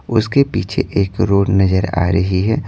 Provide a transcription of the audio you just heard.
उसके पीछे एक रोड नजर आ रही है।